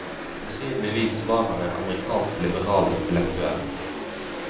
Sannsynligvis var han en amerikansk liberal intellektuell.